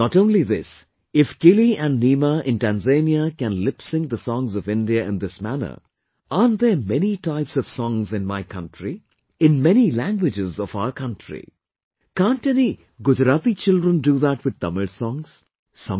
Not only this, if Kili and Neema in Tanzania can lip sync the songs of India in this manner, aren't there many types of songs in my country... in many languages of our country... can't any Gujarati children do that with Tamil songs...